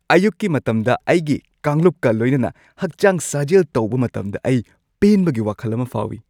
ꯑꯌꯨꯛꯀꯤ ꯃꯇꯝꯗ ꯑꯩꯒꯤ ꯀꯥꯡꯂꯨꯞꯀ ꯂꯣꯏꯅꯅ ꯍꯛꯆꯥꯡ ꯁꯥꯖꯦꯜ ꯇꯧꯕ ꯃꯇꯝꯗ ꯑꯩ ꯄꯦꯟꯕꯒꯤ ꯋꯥꯈꯜ ꯑꯃ ꯐꯥꯎꯏ꯫